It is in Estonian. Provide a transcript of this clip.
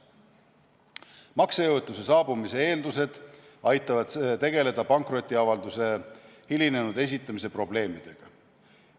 Maksejõuetuse saabumise eeldused aitavad tegeleda pankrotiavalduse hilinenud esitamise probleemidega.